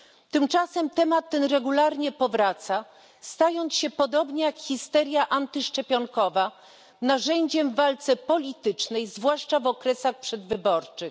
Tymczasem temat ten regularnie powraca, stając się, podobnie jak histeria antyszczepionkowa, narzędziem w walce politycznej, zwłaszcza w okresach przedwyborczych.